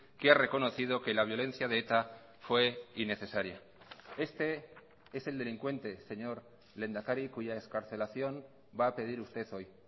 que ha reconocido que la violencia de eta fue innecesaria este es el delincuente señor lehendakari cuya excarcelación va a pedir usted hoy